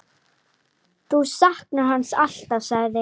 Þú saknar hans alltaf, sagði